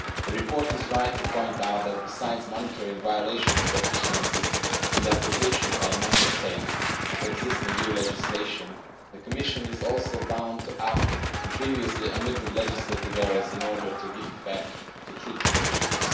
The report is right to point out that, besides monitoring violations and deficiencies in the application by Member States of existing EU legislation, the Commission is also bound to act in previously omitted legislative areas in order to give effect to Treaty provisions.